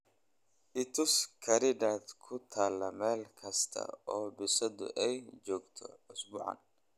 i tus khariidad ku taal meel kasta oo bisadu ay joogto usbuucan